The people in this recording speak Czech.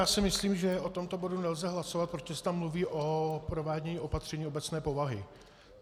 Já si myslím, že o tomto bodu nelze hlasovat, protože se tam mluví o provádění opatření obecné povahy.